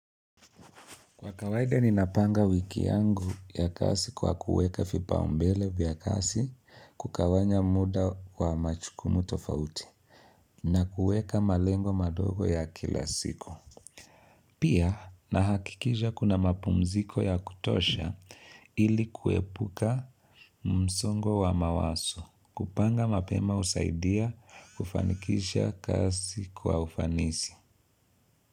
Kwa kawaida, ni napanga wiki yangu ya kazi kwa kuweka vipaumbele vya kazi kugawanya muda wa majukumu tofauti na kuweka malengo madogo ya kila siku. Pia na hakikisha kuna mapumziko ya kutosha ili kuepuka msongo wa mawazo kupanga mapema husaidia kufanikisha kazi kwa ufanisi.